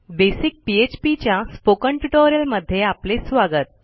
basic PHP च्या spoken ट्युटोरियलमध्ये आपले स्वागत